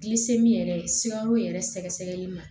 yɛrɛ sikaro yɛrɛ sɛgɛsɛgɛli ma